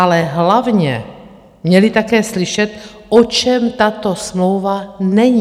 Ale hlavně měli také slyšet, o čem tato smlouva není.